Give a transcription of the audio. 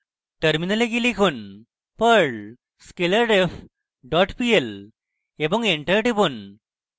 terminal যান এবং লিখুন: perl scalarref dot pl এবং enter টিপুন